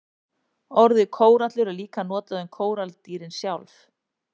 Orðið kórallur er líka notað um kóralladýrin sjálf.